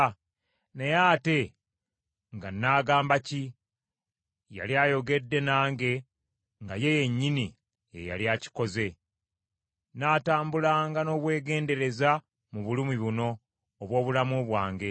Naye ate nga naagamba ki? Yali ayogedde nange nga ye yennyini ye yali akikoze. N’atambulanga n’obwegendereza mu bulumi buno obw’obulamu bwange.